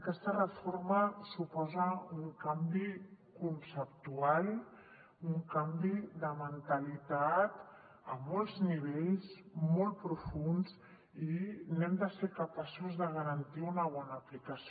aquesta reforma suposa un canvi conceptual un canvi de mentalitat a molts nivells molt profunds i hem de ser capaços de garantir ne una bona aplicació